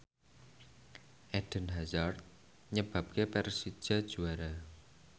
Eden Hazard nyebabke Persija juara